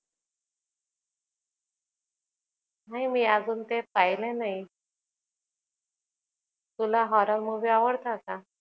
नाही मी अजून काही पाहिलं नाही. तुला horror movie आवडतात का?